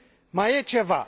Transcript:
Mai e ceva.